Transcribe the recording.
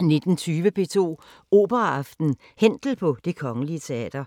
19:20: P2 Operaaften: Händel på Det Kgl. Teater